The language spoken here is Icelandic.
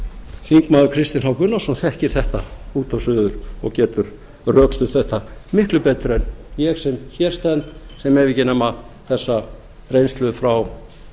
þingmaður kristinn h gunnarsson þekkir þetta út og suður og getur rökstutt þetta miklu betur en ég sem hér stend sem hef ekki þessa reynslu nema frá